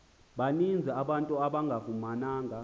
baninzi abantu abangafumananga